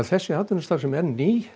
þessi atvinnustarfsemi er ný